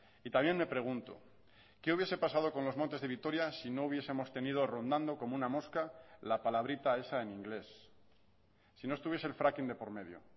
y también me pregunto qué hubiese pasado con los montes de vitoria si no hubiesemos tenido rondando como una mosca la palabrita esa en inglés si no estuviese el fracking de por medio